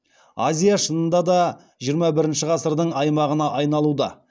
азия шынында да жиырма бірінші ғасырдың аймағына айналуда